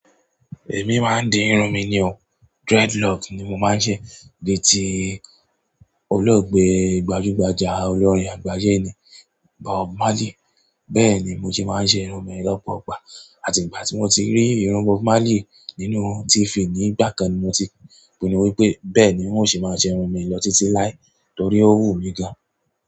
Èmi máa ń di irun mi ni o, dreadlock ni mo máa ń ṣe bíi ti olóògbé gbajúgbajà olórin àgbáyé ni Bob Marley. Bẹ́ẹ̀ ni mo sẹ́ máa ń ṣe irun mi lọ́pọ̀ ìgbà atí ìgbà tí mo tí rí irun Bob Marley nínú TV nígbà kan ni mo ti pinnu wípé bẹ́ẹ̀ ni n ó ṣe máa ṣe irun mi lọ títí láì torí ó wù mí gan an.